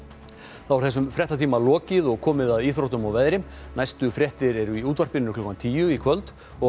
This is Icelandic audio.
þá er þessum fréttatíma lokið og komið að íþróttum og veðri næstu fréttir eru í útvarpi klukkan tíu í kvöld og